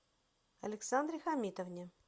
александре хамитовне